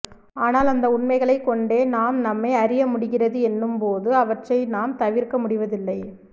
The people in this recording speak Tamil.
ஆனால் அந்த உண்மைகளை கொண்டே நாம் நம்மை அறிய முடிகிறது என்னும்போது அவற்றை நாம் தவிர்க்க முடிவதில்லை